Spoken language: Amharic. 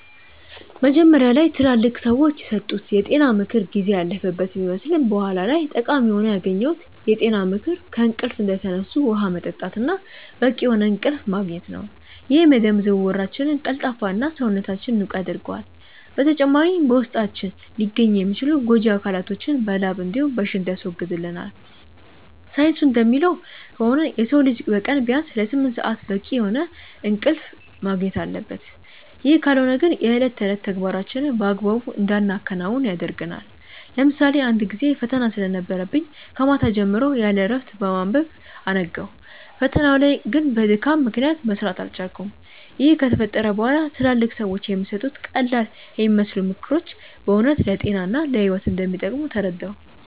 መጀመሪያ ላይ ትላልቅ ሰዎች የሰጡት የጤና ምክር ጊዜ ያለፈበት ቢመስልም በኋላ ላይ ጠቃሚ ሆኖ ያገኘሁት የጤና ምክር ከእንቅልፍ እንደተነሱ ውሃ መጠጣት እና በቂ የሆነ እንቅልፍ ማግኘት ነው፤ ይህም የደም ዝውውራችንን ቀልጣፋ እና፣ ሰውነታችንንም ንቁ ያደርገዋል። በተጨማሪም በውስጣችን ሊገኙ የሚችሉ ጎጂ አካላቶችን በላብ እንዲሁም በሽንት ያስወግድልናል። ሳይንሱ እንደሚለው ከሆነ የሰው ልጅ በቀን ቢያንስ ለስምንት ሰአት በቂ የሆነ እንቅልፍ ማግኘት አለበት፤ ይህ ካልሆነ ግን የእለት ተዕለት ተግባራችንን በአግባቡ እንዳናከናውን ያደርገናል። ለምሳሌ አንድ ጊዜ ፈተና ስለነበረብኝ ከማታ ጀምሮ ያለእረፍት በማንበብ አነጋው። ፈተናው ላይ ግን በድካም ምክንያት መስራት አልቻልኩም። ይህ ከተፈጠረ በኋላ ትላልቅ ሰዎች የሚሰጡት ቀላልየሚመስሉ ምክሮች በእውነት ለጤና እና ለህይወት እንደሚጠቅሙ ተረዳሁ።